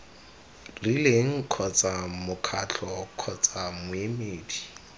rileng kgotsa mokgatlo kgotsa moemedi